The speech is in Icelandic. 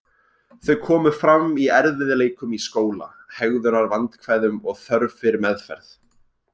Þau komu fram í erfiðleikum í skóla, hegðunarvandkvæðum og þörf fyrir meðferð.